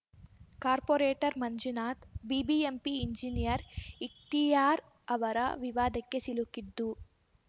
corporate Manjunath BBMP engineer Ikhtiyar ಅವರ ವಿವಾದಕ್ಕೆ ಸಿಲುಕಿದ್ದು